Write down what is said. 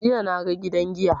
Jiya na ga gidan giya.